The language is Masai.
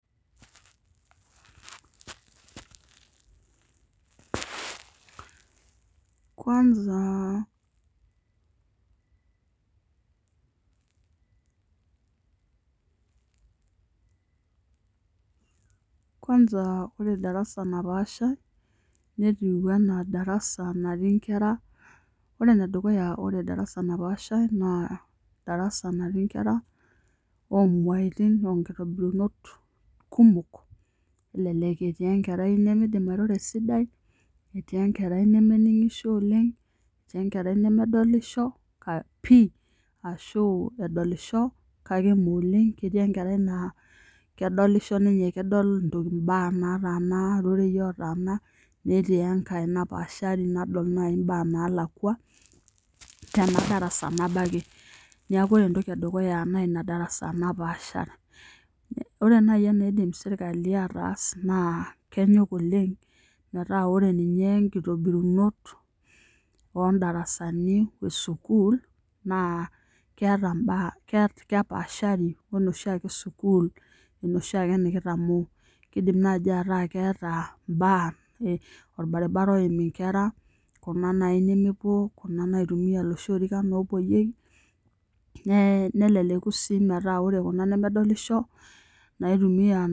kwasa ore darasa napaashai netiu anaa darasa natii inkera ore enedukuya ore darasa naapashai naa darasa natii nkera oomeaitin oonkitobirunot kumok, elelek etii enkerai nemeidim airoro esidai, elelek etii enkera nemeningisho oleng, etii enkerai nemedolisho pii ashuu edoli kake ime oleng, eidimayu netii enkerai nakedolisho ninye kedol imbaa naatana irorei ootaana netii enkai napaashari nadol naaji imbaa naalakua tendarasa nabo ake. Niaku ore entoki edukuya naa naa ina darasa napaashaa. Ore naaji enaidim sirkali aatas naa kenyok oleng metaa ore ninye nkitobirunot oondarasani e sukuul naa keeta imbaa aa kepaashari onoshiake sukuul enoshiake nikitamoo. Keidim naaji ataa keeta imbaa orbaribara oim inkera ena naaji naareu iiloshi orikan oorewueki neleku sii metaa ore kuna nemedolisho naitumia